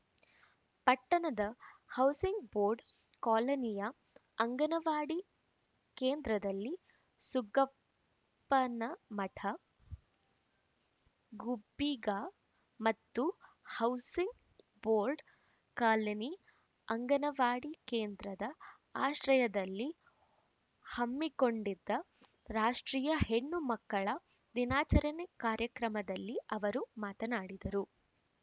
ಪಟ್ಟಣದ housing board ಕಾಲೋನಿಯ ಅಂಗನವಾಡಿ ಕೇಂದ್ರದಲ್ಲಿ ಸುಗ್ಗಪ್ಪನಮಠ ಗುಬ್ಬಿಗಾ ಮತ್ತು ಹೌಸಿಂಗ್‌ ಬೋರ್ಡ್‌ ಕಾಲೋನಿ ಅಂಗನವಾಡಿ ಕೇಂದ್ರದ ಆಶ್ರಯದಲ್ಲಿ ಹಮ್ಮಿಕೊಂಡಿದ್ದ ರಾಷ್ಟ್ರೀಯ ಹೆಣ್ಣುಮಕ್ಕಳ ದಿನಾಚರಣೆ ಕಾರ್ಯಕ್ರಮದಲ್ಲಿ ಅವರು ಮಾತನಾಡಿದರು